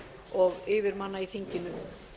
og yfirmanna í þinginu